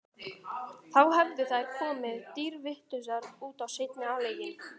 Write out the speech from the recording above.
Þá hefðu þær komið dýrvitlausar út í seinni hálfleikinn.